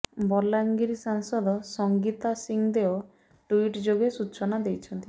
ବଲାଙ୍ଗିର ସାଂସଦ ସଂଗୀତା ସିଂହଦେଓ ଟ୍ୱିଟ୍ ଯୋଗେ ସୂଚନା ଦେଇଛନ୍ତି